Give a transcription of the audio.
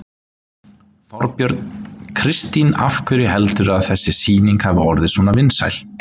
Þorbjörn: Kristín af hverju heldurðu að þessi sýning hafi orðið svona vinsæl?